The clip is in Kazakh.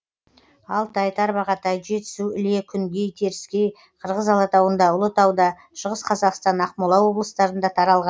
алтай тарбағатай жетісу іле күнгей теріскей қырғыз алатауында ұлытауда шығыс қазақстан ақмола облыстарында таралған